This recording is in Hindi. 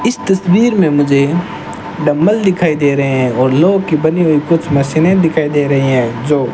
इस तस्वीर में मुझे डंबल दिखाई दे रहे हैं और लोहे की बनी हुई कुछ मशीनें दिखाई दे रही हैं जो --